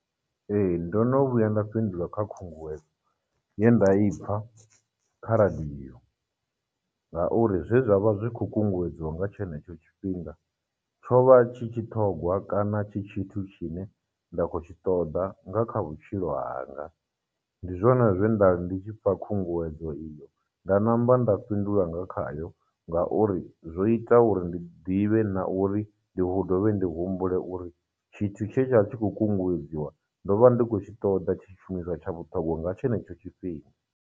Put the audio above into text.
Ee, ndo no vhuya nda fhindula kha khunguwedzo ye nda i pfha kha radiyo, ngauri zwe zwa vha zwi khou kunguwedziwa nga tshenetsho tshifhinga, tsho vha tshi tshiṱhogwa kana tshi tshithu tshi ne nda khou tshi ṱoḓa nga kha vhutshilo hanga, ndi zwone zwe nda ri ndi tshi pfha khunguwedzo iyo, nda namba nda fhindula nga khayo ngauri, zwo ita uri ndi ḓivhe na uri ndi dovhe ndi humbule uri tshithu tshe tsha vha tshi khou kunguwedziwa, ndo vha ndi khou tshi ṱoḓa tshi tshishumiswa tsha vhuṱhongwa nga tshenetsho tshifhinga.